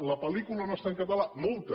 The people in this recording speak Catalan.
la pel·lícula no està en català multa